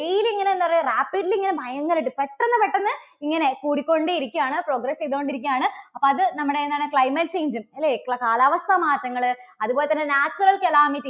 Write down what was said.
daily ഇങ്ങനെ എന്നു തന്നെ പറയാം, rapidly ഇങ്ങനെ ഭയങ്കരായിട്ട് പെട്ടെന്ന് പെട്ടെന്ന് ഇങ്ങനെ കൂടിക്കൊണ്ടേയിരിക്കാണ്, progress ചെയ്തുകൊണ്ടിരിക്കുകയാണ്. അപ്പോ അത് നമ്മുടെ എന്താണ് climate change അല്ലേ? കാ~കാലാവസ്ഥാ മാറ്റങ്ങള് അതുപോലെതന്നെ natural calamiti